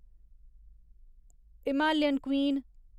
Himalayan queen